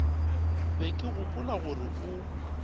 be ke gopola gore o